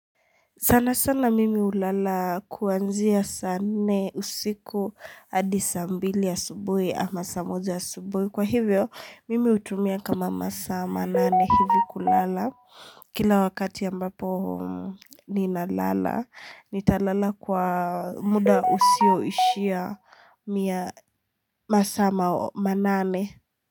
Sana sana mimi hulala kuanzia saa nne usiku adi saa mbili asubuhi ama saa moja asubuhi. Kwa hivyo, mimi hutumia kama masaa manane hivi kulala. Kila wakati ambapo ninalala, nitalala kwa muda usio ishia masaa manane.